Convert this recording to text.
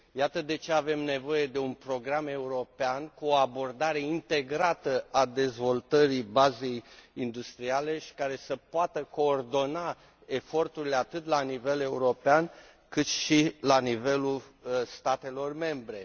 Iată de ce avem nevoie de un program european, cu o abordare integrată a dezvoltării bazei industriale și care să poată coordona eforturile atât la nivel european, cât și la nivelul statelor membre.